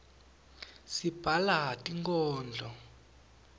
sibhala tinkodlo